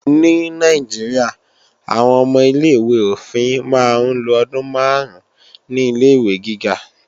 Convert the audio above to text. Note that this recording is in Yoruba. Ní Nàìjíríà, àwọn ọmọ ilé-ìwé òfin máa ń lo ọdún máàrún ní Ilé-ìwé gíga